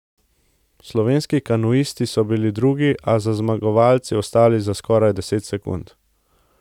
Slovenski kanuisti so bili drugi, a so za zmagovalci zaostali za skoraj deset sekund.